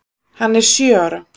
Hann er sjö ára.